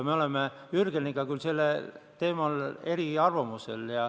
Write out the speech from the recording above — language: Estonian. Me oleme Jürgeniga selle teema puhul eriarvamusel.